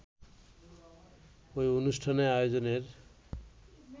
ওই অনুষ্ঠান আয়োজনের